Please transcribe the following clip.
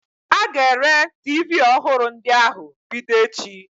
A ga-ere tiivii ọhụrụ ndị ahụ bido echi.